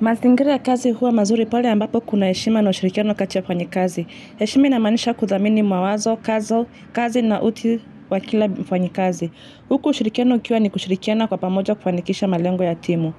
Mazingiri ya kazi huwa mazuri pale ambapo kuna heshima na ushirikiano kati ya wafanyikazi. Heshimi inamaanisha kuddhamini mwawazo, kazo, kazi na utu wa kila mfanyikazi. Huku ushirikiano ukiwa ni kushirikiana kwa pamoja kufanikisha malengo ya timu.